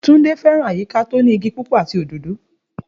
Túndé fé̩ràn àyíká tó ní igi púpò̩ àti òdòdó